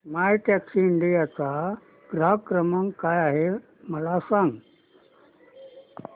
My Taxi India चा ग्राहक सेवा क्रमांक काय आहे मला सांग